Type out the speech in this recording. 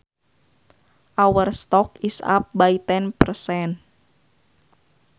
Our stock is up by ten percent